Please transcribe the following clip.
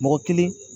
Mɔgɔ kelen